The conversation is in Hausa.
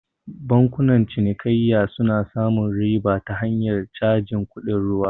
Bankunan cinikayya suna samun riba ta hanyar cajin kuɗin ruwa